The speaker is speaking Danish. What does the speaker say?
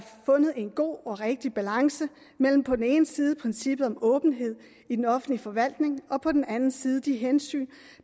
fundet en god og rigtig balance mellem på den ene side princippet om åbenhed i den offentlige forvaltning og på den anden side de hensyn